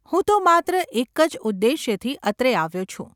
હું તો માત્ર એક જ ઉદ્દેશથી અત્રે આવ્યો છું.